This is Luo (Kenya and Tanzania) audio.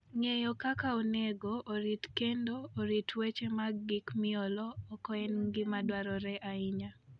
Ng'eyo kaka onego orit kendo orit weche mag gik miolo oko en gima dwarore ahinya.